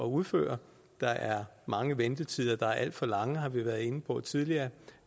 udføre der er mange ventetider der er alt for lange har vi været inde på tidligere